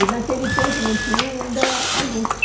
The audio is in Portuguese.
E naquele tempo não tinha ainda a luz.